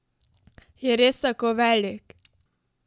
Je res tako velik?